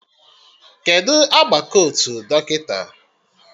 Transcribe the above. Kedụ agba kotu dọkịta?